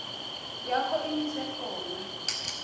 yakho imise khona